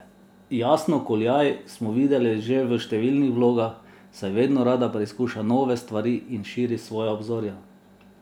Jasno Kuljaj smo videli že v številnih vlogah, saj vedno rada preizkuša nove stvari in širi svoja obzorja.